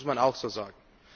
Das muss man auch so sagen.